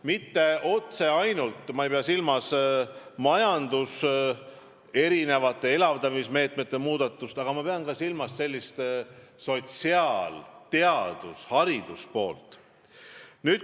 Ma ei pea silmas ainult majanduse elavdamise meetmete muudatusi, ma pean silmas ka sotsiaal-, teadus- ja haridusvaldkonda.